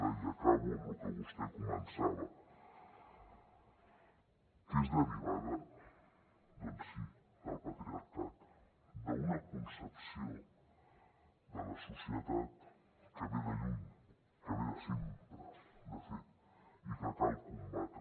i acabo amb lo que vostè començava que és derivada doncs sí del patriarcat d’una concepció de la societat que ve de lluny que ve de sempre de fet i que cal combatre